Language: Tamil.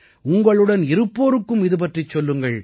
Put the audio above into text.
உங்களுடன் இருப்போருக்கும் இதுபற்றிச் சொல்லுங்கள்